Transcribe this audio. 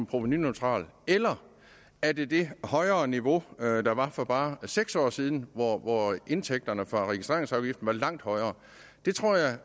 provenuneutralt eller er det det højere niveau der var for bare seks år siden hvor indtægterne fra registreringsafgiften var langt højere det tror jeg